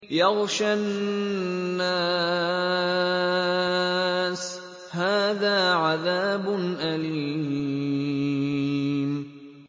يَغْشَى النَّاسَ ۖ هَٰذَا عَذَابٌ أَلِيمٌ